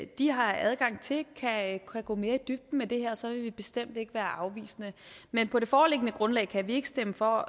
de har adgang til kan gå mere i dybden med det her så vil vi bestemt ikke være afvisende men på det foreliggende grundlag kan vi ikke stemme for